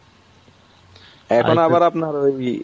এখন আবার আপনার ওই